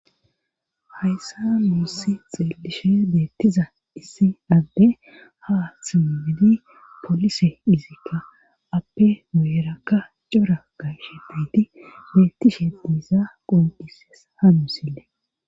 hayssa nuussi xelishe deettiza issi adde ha simbidi polise izikka appe meerakka cora gayshe biidi beettishe biiza qondhises hamusile